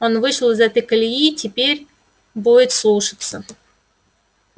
он вышел из этой колеи и теперь будет слушаться